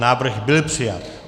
Návrh byl přijat.